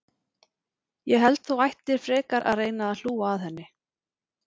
Ég held þú ættir frekar að reyna að hlúa að henni.